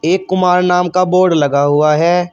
एक कुमार नाम का बोर्ड लगा हुआ है।